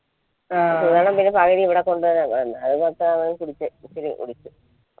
സുധണ്ണൻ പിന്നെ പകുതി ഇവിടെ